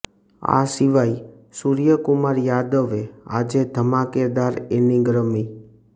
આ સિવાય સૂર્યકુમાર યાદવે આજે ધમાકેદાર ઇનિંગ રમી